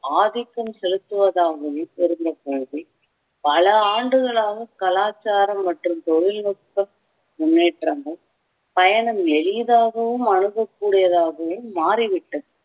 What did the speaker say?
ஆதிக்கம் செலுத்துவதாகவே பகுதி பல ஆண்டுகளாக கலாச்சாரம் மற்றும் தொழில்நுட்ப முன்னேற்றமும் பயணம் எளிதாகவும் அணுகக் கூடியதாகவும் மாறிவிட்டது